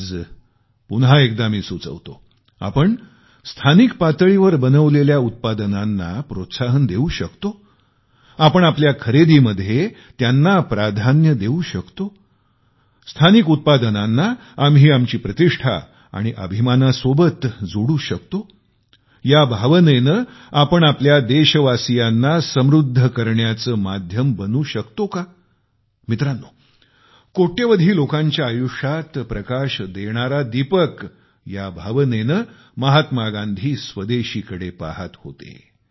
आज पुन्हा एकदा मी सुचवितो आपण स्थानिक पातळीवर बनवलेल्या उत्पादनांना प्रोत्साहन देऊ शकतो आपण आपल्या खरेदीमध्ये त्यांना प्राधान्य देऊ शकतो स्थानिक उत्पादनांना आम्ही आमची प्रतिष्ठा आणि अभिमाना सोबत जोडू शकतो या भावनेने आपण आपल्या देशवासीयांना समृद्ध करण्याचे माध्यम बनू शकतो का मित्रांनो कोट्यवधी लोकांच्या आयुष्यात प्रकाश देणारा दीपक या भावनेने महात्मा गांधी स्वदेशीकडे पाहत होते